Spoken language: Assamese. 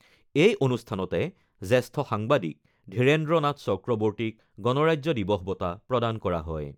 এই অনুষ্ঠানতে জ্যেষ্ঠ সাংবাদিক ধীৰেন্দ্ৰ নাথ চক্ৰৱৰ্তীক গণৰাজ্য দিৱস বঁটা প্ৰদান কৰা হয়।